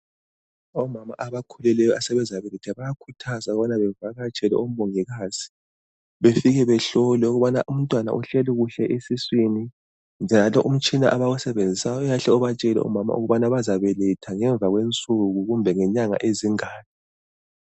Omama abakhulelweyo asebezabeletha bayakhuthazwa ukubana bevakatshele omongikazi. Befike behlolwe ukubana umntwana uhleli kuhle esiswini, njalo umtshina abawusebenzisayo uyahle ubatshele omama ukubana bazabeletha ngemva kwensuku kumbe ngenyanga ezingaki.